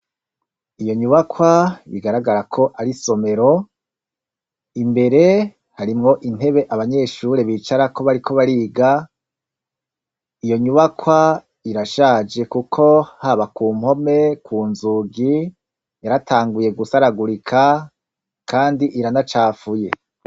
Iyo nyubakwa bigaragara ko ari isomero, imbere harimwo intebe abanyeshure bicarako bariko bariga, iyo nyubakwa irashaje kuko haba ku mpome, ku nzugi yaratanguye gusaragurika kandi iranacafuye.